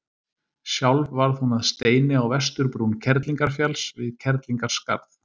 Sjálf varð hún að steini á vesturbrún Kerlingarfjalls, við Kerlingarskarð.